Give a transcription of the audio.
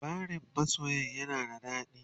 labarain masoyan yana da dadi?